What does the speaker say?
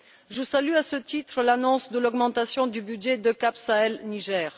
Je salue à ce titre l'annonce de l'augmentation du budget de EUCAP Sahel Niger.